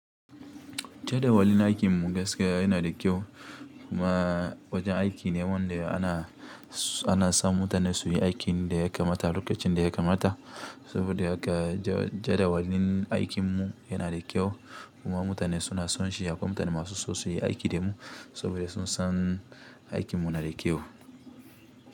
Jadawalin aikin mu gaskiya yana da kyau kuma wajen aiki ne wanda ana, ana sa mutane su yi aikin da ya kamata lokacin da ya kamata saboda haka ja jadawalin aikin mu yana da kyau kuma mutane suna son shi akwai mutane masu so suyi aiki da mu saboda sun san aikin mu nada kyau.